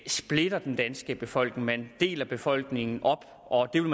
splitter den danske befolkning man deler befolkningen op og det vil